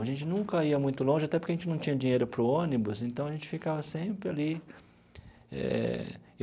A gente nunca ia muito longe, até porque a gente não tinha dinheiro para o ônibus, então a gente ficava sempre ali eh.